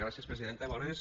gràcies presidenta bones